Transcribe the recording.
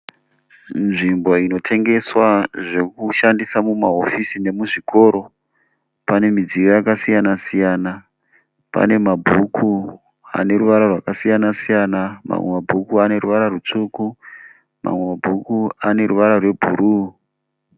Nzvimbo inotengeswa zvekushandisa muhofisi nemuzvikoro. Pane midziyo yakasiyana siyana. Pane mabhuku ane ruvara rwakasiyana siyana. Mamwe mabhuku ane ruvara rutsvuku mamwe mabhuku ane ruvara rwebhuru.